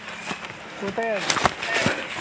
কোথায় যাবে?